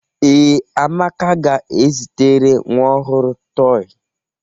Ee, Amaka ga-ezitere nwa ọhụrụ tọị.